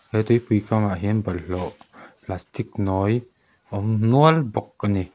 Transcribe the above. he tuipui kam ah hian bawlhhlawh plastic nawi a awm nual bawk a ni.